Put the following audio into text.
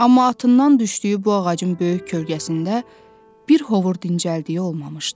Amma atından düşdüyü bu ağacın böyük kölgəsində bir hovur dincəldiyi olmamışdı.